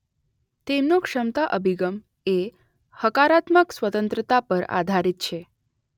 તેમનો ક્ષમતા અભિગમ એ હકારાત્મક સ્વતંત્રતા પર આધારિત છે.